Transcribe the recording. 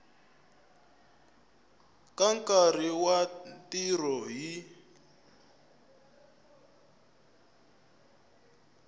ka nkarhi wa ntirho hi